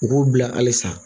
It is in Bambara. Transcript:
U k'u bila halisa